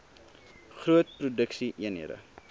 groot produksie eenhede